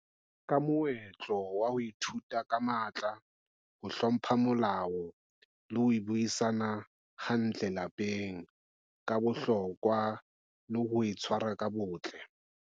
Ka moetlo wa ho ithuta ka matla, ho hlompha molao le ho buisana hantle lapeng, ka bohlokwa le ho e tshwara ka botle.